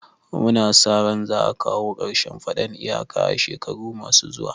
Mu na sa ran za a kawo karshen faɗan iyaka a shekaru ma su zuwa